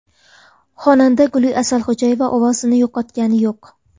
Xonanda Guli Asalxo‘jayeva ovozini yo‘qotgani yo‘q.